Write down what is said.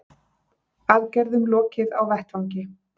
Aðgerðum lokið á vettvangi